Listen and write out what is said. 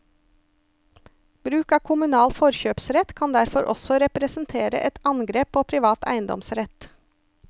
Bruk av kommunal forkjøpsrett kan derfor også representere et angrep på privat eiendomsrett.